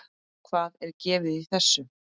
Hvað er gefið í þessu?